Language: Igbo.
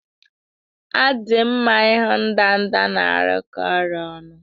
Ọ dị mma ịhụ ndanda na-arụkọ ọrụ ọnụ